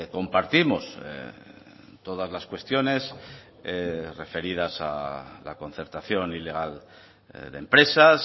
compartimos todas las cuestiones referidas a la concertación ilegal de empresas